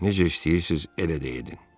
Necə istəyirsiz, elə də edin.